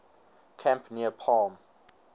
camp near palm